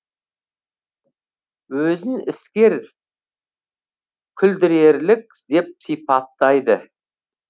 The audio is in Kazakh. өзін іскер күлдірерлік деп сипаттайды